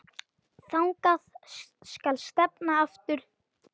Þangað skal stefnan aftur tekin.